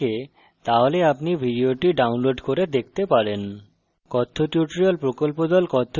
যদি ভাল bandwidth না থাকে তাহলে আপনি ভিডিওটি download করে দেখতে পারেন